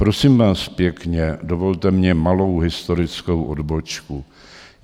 Prosím vás pěkně, dovolte mně malou historickou odbočku.